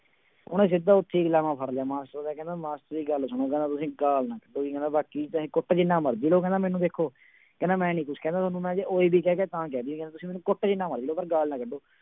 ਉਹਨੇ ਸਿੱਧਾ ਉੱਥੇ ਹੀ ਗੁਲਾਮਾਂ ਫੜ ਲਿਆ ਮਾਸਟਰ ਦਾ ਕਹਿੰਦਾ ਮਾਸਟਰ ਜੀ ਗੱਲ ਸੁਣੋ ਕਹਿੰਦਾ ਤੁਸੀਂ ਗਾਲ ਨਾ ਕੱਢੋ ਜੀ ਕਹਿੰਦਾ ਬਾਕੀ ਚਾਹੇ ਕੁੱਟ ਜਿੰਨਾ ਮਰਜ਼ੀ ਲਓ ਕਹਿੰਦਾ ਮੈਨੂੰ ਦੇਖੋ ਕਹਿੰਦਾ ਮੈਂ ਨੀ ਕੁਛ ਕਹਿੰਦਾ ਤੁਹਾਨੂੰ, ਮੈਂ ਜੇ ਓਏ ਵੀ ਕਹਿ ਗਿਆ ਤਾਂ ਕਹਿ ਦੇਈ ਕਹਿੰਦਾ ਤੁਸੀਂ ਮੈਨੂੰ ਕੁੱਟ ਜਿੰਨਾ ਮਰਜ਼ੀ ਲਓ ਪਰ ਗਾਲ ਨਾ ਕੱਢੋ।